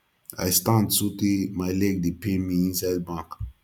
i stand so tey my leg dey pain me inside bank